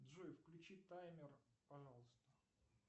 джой включи таймер пожалуйста